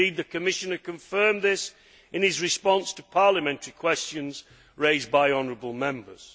Indeed, the Commissioner confirmed this in his response to parliamentary questions raised by honourable Members.